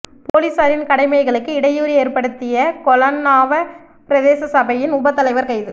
பொலிஸாரின் கடமைகளுக்கு இடையூறு ஏற்படுத்திய கொலன்னாவ பிரதேச சபையின் உப தலைவர் கைது